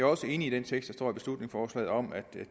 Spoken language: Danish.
også enig i den tekst i beslutningsforslaget om at